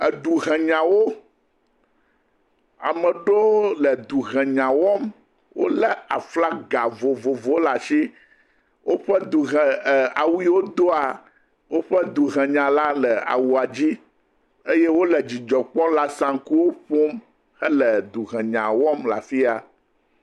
Eduhenyawo. Amewo aɖewo le edzi henya wɔm. Wòle aflaga vovovowo ɖe asi. Woƒe duhe, awu yiwo doa, woƒe duhenyala le awua dzi eye wole dzidzɔ kpɔm le asankuwo ƒom hele duhenya wɔm le afi ya.